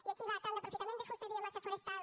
i aquí va tant d’aprofitament de fusta i biomassa forestal